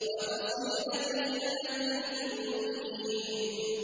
وَفَصِيلَتِهِ الَّتِي تُؤْوِيهِ